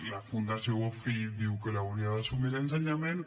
la fundació bofill diu que l’hauria d’assumir ensenyament